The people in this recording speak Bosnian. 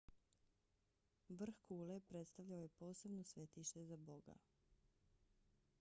vrh kule predstavljao je posebno svetište za boga